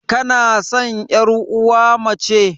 Kanasan yar uwa mace?